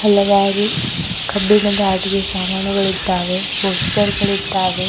ಹಲವಾರು ಕಬ್ಬಿಣದ ಆಟಿಕೆ ಸಾಮಾನುಗಳಿದ್ದಾವೆ ಪೋಸ್ಟರ್ ಗಳಿದ್ದಾವೆ.